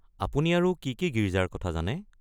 আপুনি আৰু কি কি গীৰ্জাৰ কথা জানে?